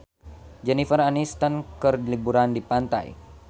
Jennifer Aniston keur liburan di pantai